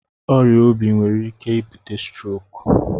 Ọrịa obi nwere ike ibute strok.